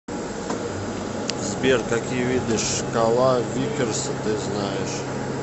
сбер какие виды шкала виккерса ты знаешь